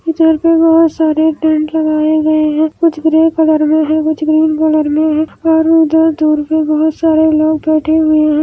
Hindi audio तो reject है .